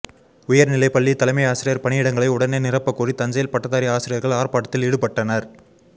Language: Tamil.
உயர்நிலைப்பள்ளி தலைமை ஆசிரியர் பணியிடங்களை உடனே நிரப்பக்கோரி தஞ்சையில் பட்டதாரி ஆசிரியர்கள் ஆர்ப்பாட்டத்தில் ஈடுபட்டனர்